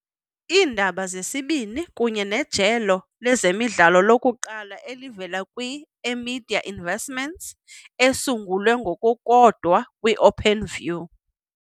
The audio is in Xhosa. Iindaba zesibini kunye nejelo lezemidlalo lokuqala elivela kwi-eMedia Investments esungulwe ngokukodwa kwi -Openview.